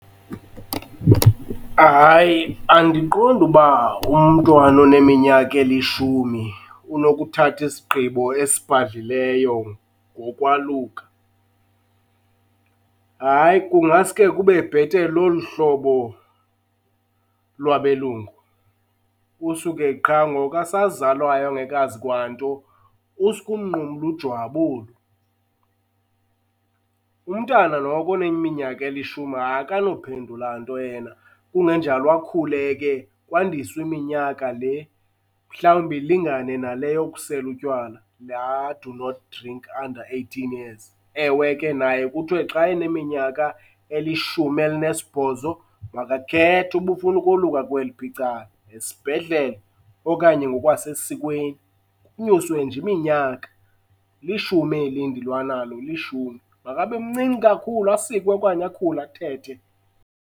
Hayi, andiqondi uba umntwana oneminyaka elishumi unokuthatha isigqibo esibhadlileyo ngokwaluka. Hayi, kungaske kube bhetele olu hlobo lwabelungu. Kusuke qha ngoku esazalwayo engekazi kwanto, uske umnqumle ujwabi olu. Umntana noko oneminyaka elishumi akanophendula nto yena. Kungenjalo akhule ke, kwandiswe iminyaka le mhlawumbi ilingane nale yokusela utywala, laa do not drink under eighteen years. Ewe ke naye kuthiwe xa eneminyaka elishumi elinesibhozo makakhethe uba ufuna ukoluka kweliphi icala, esibhedlele okanye ngokwasesikweni, kunyuswe nje iminyaka. Lishumi eli ndilwa nalo, lishumi. Makabe mncinci kakhulu asikwe okanye akhule, athethe.